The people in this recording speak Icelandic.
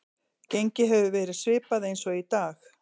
Gengið hefur verið svipað eins og í dag.